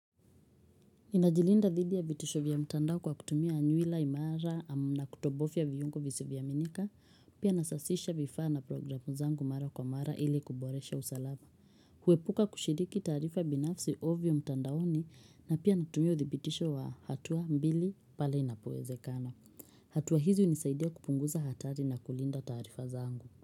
Ninajilinda dhidi ya vitisho vya mtandao kwa kutumia nywila imara na kutobofya viungo visivyoaminika. Pia nasasisha vifaa na programu zangu mara kwa mara ili kuboresha usalama. Huepuka kushiriki taarifa binafsi ovyo mtandaoni na pia natumia udhibitisho wa hatua mbili pale inapoezekana. Hatua hizi hunisaidia kupunguza hatari na kulinda taarifa zangu.